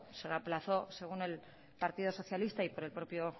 se aplazó según el partido socialista y por el propio